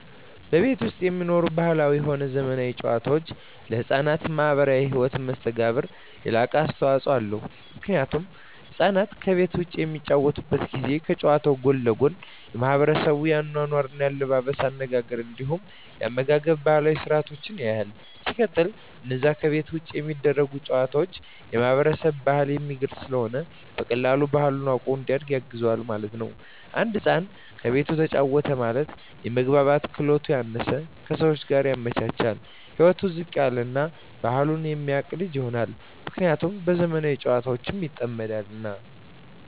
ከቤት ዉጪ የሚኖሩ ባህላዊም ሆነ ዘመናዊ ጨዋታወች ለሕፃናት ማህበራዊ ህይወት መስተጋብር የላቀ አስተዋጾ አለዉ ምክንያቱም ህፃናት ከቤት ዉጪ በሚጫወቱበት ጊዜ ከጨዋታዉ ጎን ለጎን የማሕበረሰቡን የአኗኗር፣ የአለባበስ፤ የአነጋገር እንዲሁም የአመጋገብ ባህላዊ ስርአቶችን ያያል። ሲቀጥል አነዛ ከቤት ዉጪ የሚደረጉ ጨዋታወች የማህበረሰብን ባህል የሚገልጽ ስለሆነ በቀላሉ ባህሉን አዉቆ እንዲያድግ ያግዘዋል ማለት ነዉ። አንድ ህፃን ከቤቱ ተጫወተ ማለት የመግባባት ክህሎቱ ያነሰ፣ ከሰወች ጋር የመቻቻል ህይወቱ ዝቅ ያለ እና ባህሉን የማያቅ ልጅ ይሆናል። ምክንያቱም በዘመናዊ ጨዋታወች ይጠመዳልና።